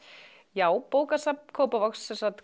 já bókasafn Kópavogs